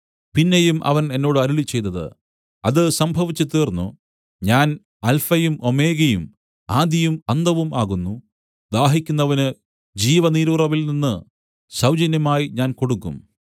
പിന്നെയും അവൻ എന്നോട് അരുളിച്ചെയ്തത് അത് സംഭവിച്ചുതീർന്നു ഞാൻ അല്ഫയും ഓമേഗയും ആദിയും അന്തവും ആകുന്നു ദാഹിക്കുന്നവന് ജിവനീരുറവിൽ നിന്നു സൗജന്യമായി ഞാൻ കൊടുക്കും